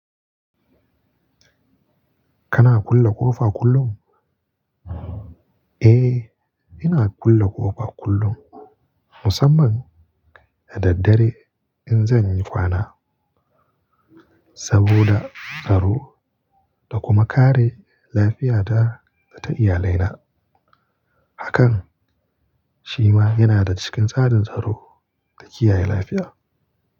Kana kulle ƙofa kullum? Eh, ina kulle ƙofa kullum, musamman da daddare in zan yi kwana, saboda tsaro da kuma kare lafiyata da ta iyalai na. Hakan shi ma yana cikin tsarin tsaro da kiyaye lafiya.